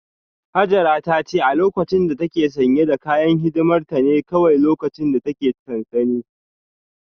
Hajara ta ce a lokacin da ta ke sanye da kayan hidimar ta ne kawai lokacin da ta ke sansanin